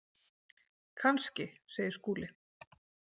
Kannski, segir Skúli.